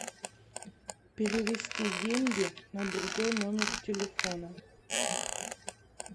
перевести деньги на другой номер телефона